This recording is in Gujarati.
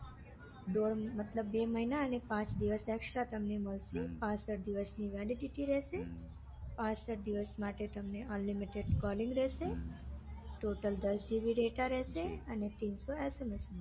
દોઢ મતલબ બે મહિના અને પાંચ દિવસ તમને extra મળશે દિવસની validity રેસે હમ પાંસઠ દિવસ માટે તમને unlimited calling રેસે હમ total દસ જીબી ડેટા રેસે અને પર SMS રેસે